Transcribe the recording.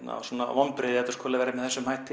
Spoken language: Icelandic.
vonbrigði þetta skuli vera með þessum hætti